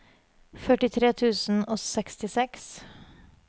førtitre tusen og sekstiseks